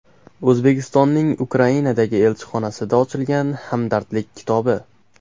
O‘zbekistonning Ukrainadagi elchixonasida ochilgan hamdardlik kitobi.